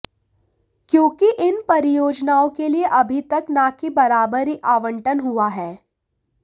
क्योंकि इन परियोजनाओं के लिए अभी तक न के बराबर ही आवंटन हुआ है